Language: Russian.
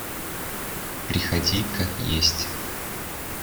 приходи как есть